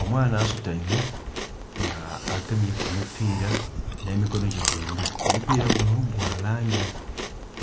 Omwaana asutaime nga agemye ku mupira nhe mukonho gye dhombi omubira gunho gwa langi